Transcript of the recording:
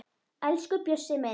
Elsku Bjössi minn